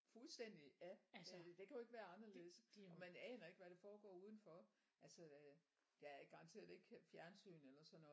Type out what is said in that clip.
Fuldstændig ja det kan jo ikke været anderledes og man aner ikke hvad der foregår udenfor altså der er garanteret ikke engang fjernsyn eller sådan noget